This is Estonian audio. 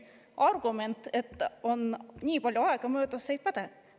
Argument, et nii palju aega on möödas, ei päde.